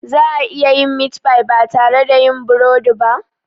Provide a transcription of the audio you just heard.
Za a iya yin meat pie ba tare da yin burodi ba?